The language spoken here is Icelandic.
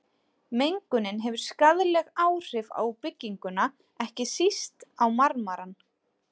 Mengunin hefur skaðleg áhrif á bygginguna, ekki síst á marmarann.